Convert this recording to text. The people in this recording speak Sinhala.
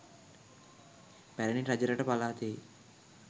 පැරැණි රජරට පළාතෙහි